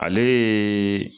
Ale yeee